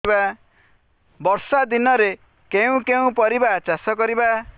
ବର୍ଷା ଦିନରେ କେଉଁ କେଉଁ ପରିବା ଚାଷ କରିବା